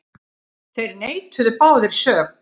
Þeir neituðu báðir sök.